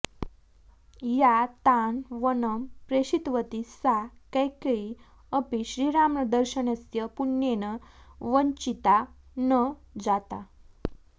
या तान् वनं प्रेषितवती सा कैकेयी अपि श्रीरामदर्शनस्य पुण्येन वञ्चिता न जाता